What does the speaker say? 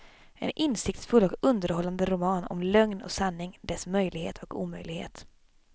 En insiktsfull och underhållande roman om lögn och sanning, dess möjlighet och omöjlighet.